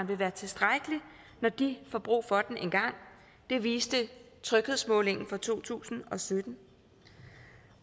vil være tilstrækkelig når de får brug for den engang det viste tryghedsmålingen fra to tusind og sytten